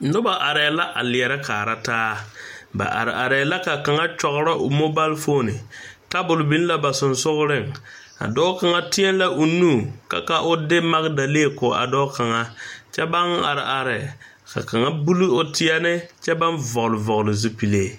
Nobɔ areɛɛ la a lierɛ kaara taa ba are areɛɛ la ka kaŋa kyɔgrɔ o moobalfoone tabol biŋ la ba seŋsugliŋ a dɔɔ kaŋa tēɛ la o nu ka ka o de magdalee ko a dɔɔ kaŋa kyɛ baŋ are are ka kaŋa buli o tèɛɛne kyɛ baŋ vɔgle vɔgle zupile.